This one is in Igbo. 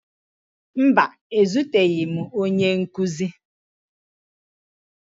Mba, ezuteghi m onye nkụzi